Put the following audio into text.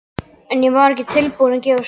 En ég var ekki tilbúin að gefast upp.